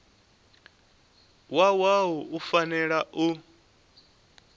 wa wua u fanela u